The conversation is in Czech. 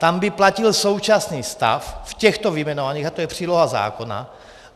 Tam by platil současný stav v těchto vyjmenovaných a to je příloha zákona.